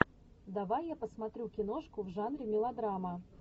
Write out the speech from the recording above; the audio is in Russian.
давай я посмотрю киношку в жанре мелодрама